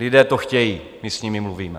Lidé to chtějí, my s nimi mluvíme.